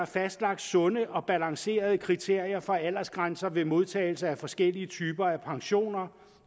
fastlagt sunde og balancerede kriterier for aldersgrænser ved modtagelse af forskellige typer af pensioner